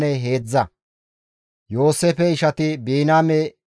Ha7ikka koshay Kanaane biittan minnides.